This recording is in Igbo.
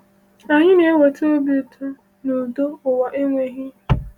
Anyị na-enweta obi ụtọ na udo ụwa enweghị.